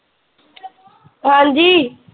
ਹਾਂਜੀ।